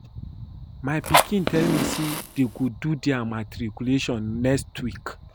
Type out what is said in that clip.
My pikin tell me say dey go do their matriculation next week